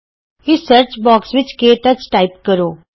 ਇਸ search box ਵਿੱਚ KTouch type ਕਰੋ